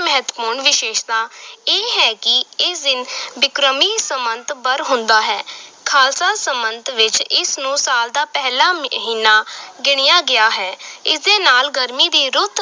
ਮਹੱਤਵਪੂਰਨ ਵਿਸ਼ੇਸ਼ਤਾ ਇਹ ਹੈ ਕਿ ਇਸ ਦਿਨ ਬਿਕਰਮੀ ਸੰਮਤ ਬਰ ਹੁੰਦਾ ਹੈ ਖ਼ਾਲਸਾ ਸੰਮਤ ਵਿਚ ਇਸ ਨੂੰ ਸਾਲ ਦਾ ਪਹਿਲਾ ਮਹੀਨਾ ਗਿਣਿਆ ਗਿਆ ਹੈ, ਇਸ ਦੇ ਨਾਲ ਗਰਮੀ ਦੀ ਰੁੱਤ